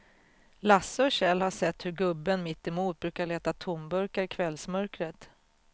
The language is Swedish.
Lasse och Kjell har sett hur gubben mittemot brukar leta tomburkar i kvällsmörkret.